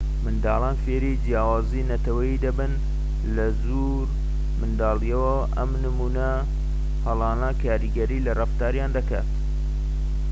منداڵان فێری جیاوازیی نەتەوەیی دەبن لە زۆر منداڵیەوە و ئەم نمونە هەڵانە کاریگەری لە ڕەفتاریان دەکات